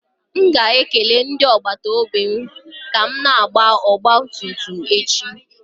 M ga-ekele ndị agbata obi m ka m na-agba ọgba tum tum m echi.